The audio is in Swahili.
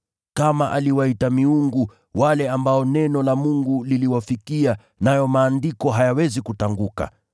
Kama aliwaita ‘miungu,’ wale ambao neno la Mungu liliwafikia, nayo Maandiko hayawezi kutanguka,